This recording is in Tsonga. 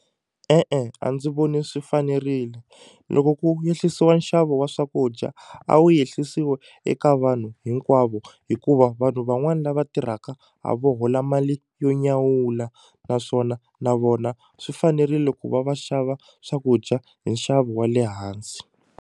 E-e a ndzi voni swi fanerile loko ku yehlisiwa nxavo wa swakudya a wu yehlisiwe eka vanhu hinkwavo hikuva vanhu van'wani lava tirhaka a vo hola mali yo nyawula naswona na vona swi fanerile ku va va xava swakudya hi nxavo wa le hansi.